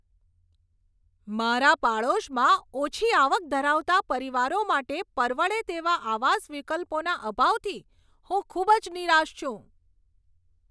મારા પડોશમાં ઓછી આવક ધરાવતા પરિવારો માટે પરવડે તેવા આવાસ વિકલ્પોના અભાવથી હું ખૂબ જ નિરાશ છું.